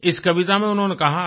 इस कविता में उन्होंने कहा है